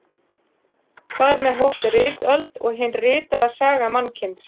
Þar með hófst ritöld og hin ritaða saga mannkyns.